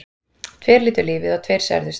Tveir létu lífið og tveir særðust